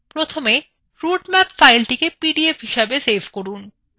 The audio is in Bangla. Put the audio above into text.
প্রথমে রুটম্যাপফাইলটিকে পিডিএফ হিসেবে save করুন